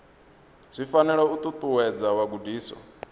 zwi fanela u ṱuṱuwedza vhagudiswa